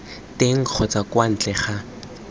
teng kgotsa kwa ntle ga